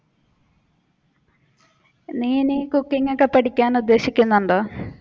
നീ ഇനി cooking ഒക്കെ പഠിക്കാൻ ഉദ്ദേശിക്കുന്നുണ്ടോ?